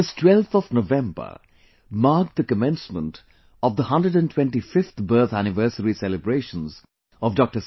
this twelfth of November marked the commencement of the 125th birth anniversary celebrations of Dr